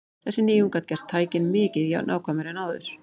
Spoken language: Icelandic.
Þessi nýjung gat gert tækin mikið nákvæmari en áður.